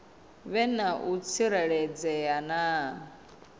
vhe na u tsireledzea na